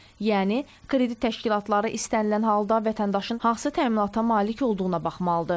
Yəni kredit təşkilatları istənilən halda vətəndaşın hansı təminata malik olduğuna baxmalıdır.